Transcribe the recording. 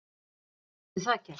Hvað getur það gert?